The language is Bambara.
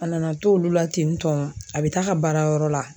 A nana to olu la ten tɔ a bɛ taa ka baara yɔrɔ la